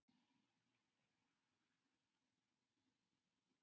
Árum saman höfðu menn velt því fyrir sér hvað gæti verið falið í göngunum.